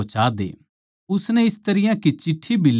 उसनै इस तरियां की चिट्ठी भी लिक्खी